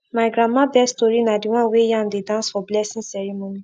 my grandma best tori na the one wey yam dey dance for blessing ceremony